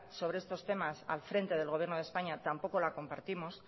sobre estos temas al frente del gobierno de españa tampoco la compartimos